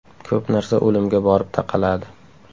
Ko‘p narsa o‘limga borib taqaladi.